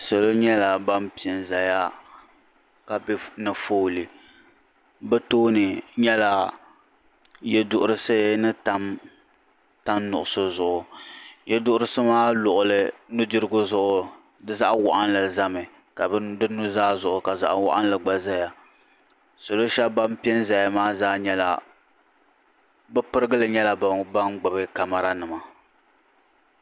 Salo nyɛla ban piɛ n zaya ka be foolii bɛ tooni nyɛla yeduhurisi ni tam tan nuɣuso zuɣu yeduhurisi maa luɣuli di nudirigu zuɣu di zaɣa waɣinli zami ka di nuzaa zuɣu ka zaɣa waɣinli gba zaya salo sheba ban piɛ n zaya maa zaa pirigili nyɛla ban gbibi kamara nima.